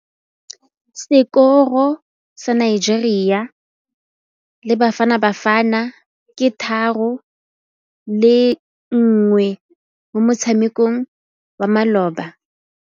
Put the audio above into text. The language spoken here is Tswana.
Sekôrô sa Nigeria le Bafanabafana ke 3-1 mo motshamekong wa malôba.